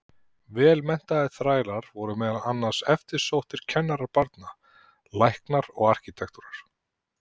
Vel menntaðir þrælar voru meðal annars eftirsóttir kennarar barna, læknar og arkítektar.